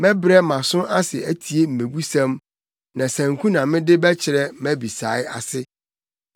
Mɛbrɛ mʼaso ase atie mmebusɛm; na sanku na mede bɛkyerɛ mʼabisae ase.